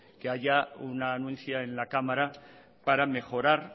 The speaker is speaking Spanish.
que haya una anuncia en la cámara para mejorar